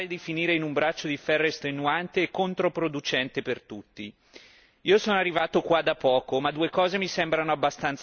Io sono arrivato qua da poco, ma due cose mi sembrano abbastanza chiare abbiamo risorse scarse e c'è un problema con i pagamenti arretrati.